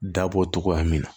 Dabɔ togoya min na